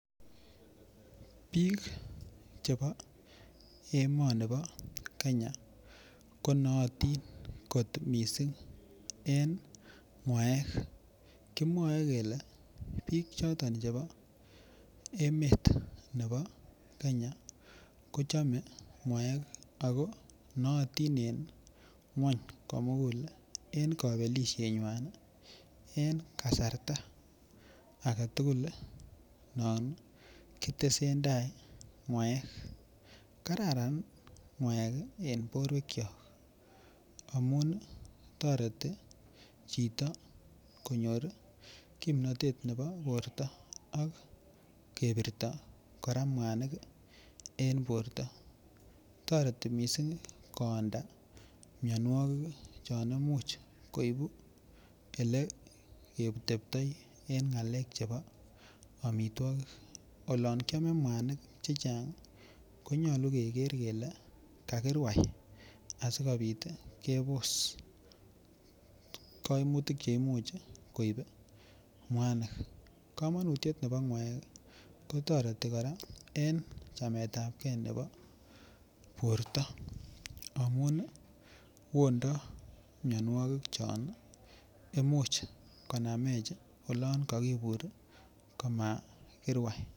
Biik chebo emoni bo Kenya konootin kot mising eng ng'waek kimwoe kele biik choton chebo emet nebo Kenya kochome ng'waek ako noyotin en ng'weny komugul eng kobelishet ng'wan en kasarta agetukul non kotesentai mwaet kararan ng'waek en borwek cho amun toreti chito konyor kimnotet nebo borto ak kebirto kora mwanik eng borto toreti mising koyonda mionwokik chon imuch koibu ele yekiteptoi eng ng'alek chebo omitwokik olon kiame mwanik che chang konyolu keker kele kakirwai asikobit kepos koimutik che imuch koip mwanik kamanutiet nebo ng'waek kotoreti kora eng chamet ap kee nebo borto amun yondo mionwokik chon imuch konamech olon kakibur komakirwai.